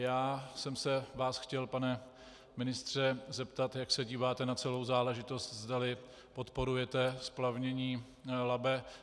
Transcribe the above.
Já jsem se vás chtěl, pane ministře, zeptat, jak se díváte na celou záležitost, zdali podporujete splavnění Labe.